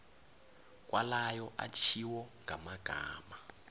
kwalayo atjhiwo ngamagama